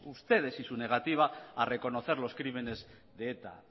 ustedes y su negativa a reconocer los crímenes de eta